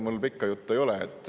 Ega mul pikka juttu ei ole.